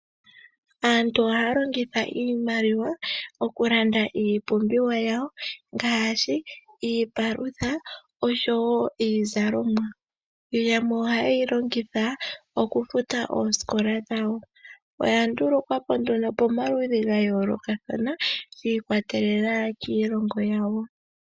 Aantu ohaya longitha iimaliwa okulanda iipumbiwa yawo ngaashi iipalutha oshowo iizalomwa. Yamwe ohaya yi longitha okufuta oosikola dhawo. Oya ndulukwapo nduno pamaludhi ga yoolokothana shiikwatelela kiilongo yawo.